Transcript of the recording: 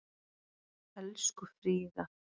Elsku Fríða.